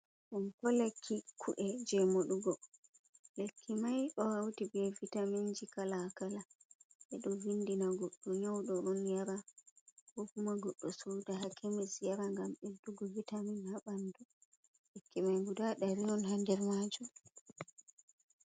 Fonko lekki ku’e jey moɗugo, lekki mai ɗo hawti bee vitaminji kala kala, ɓe ɗo vindina goɗɗo nyawɗo on yara koo fumago do souda hakemis yara gam ɓeddugo vitamin haa ɓanndu lekki mai gudaa dari on haa der maajum.